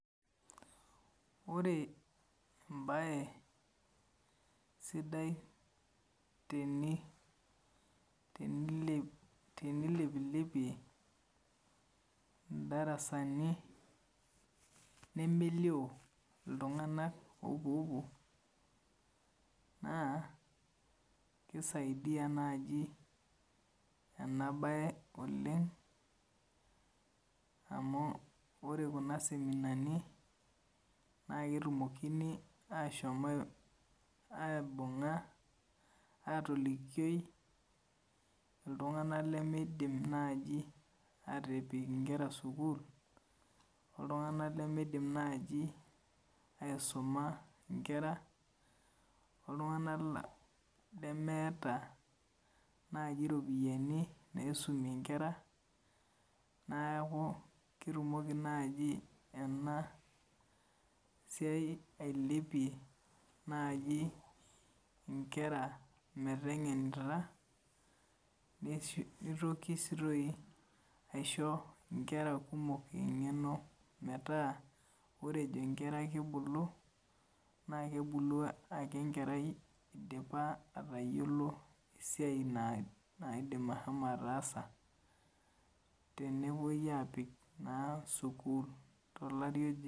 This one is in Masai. Ore embae sidai tenilepilepie indarasani nemelio iltung'anak oopuoopuo naa kisaidia naaji ena bae oleng amu ore kuna seminani naa ketumokini aashom aibung'a astolikioi iltung'anak limiidim naai aatipik nkera sukuul o iltung'anak limiidim naaji aisuma inkera, o iltung'anak lemeeta naaji iropiyiani naisumie inkera. Neeku ketumoki naaji ena siai ailepia naaji inkera meteng'enita nitoki sii toi aisho inkera kumok eng'eno metaa ore nkera kibulu naa kebulu ake enkerai idipa aayiolou esiai naaidim ashomo ataasa tenepwoi aapik naa sukuul tolari oje